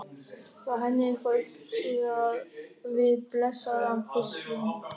Var henni eitthvað uppsigað við blessaðan fiskinn?